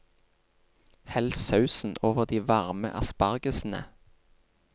Hell sausen over de varme aspargesene.